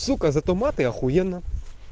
сука зато мат и охуенно